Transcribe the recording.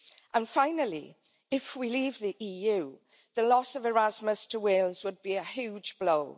And finally, if we leave the EU, the loss of Erasmus to Wales would be a huge blow.